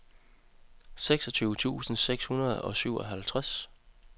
seksogtyve tusind seks hundrede og syvoghalvtreds